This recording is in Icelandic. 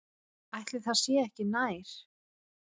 Ætli það sé ekki nær.